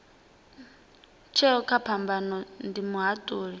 tsheo kha phambano ndi muhatuli